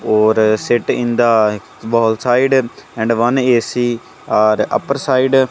or sit in the wall side and one AC are upper side --